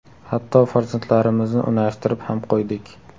– Hatto farzandlarimizni unashtirib ham qo‘ydik.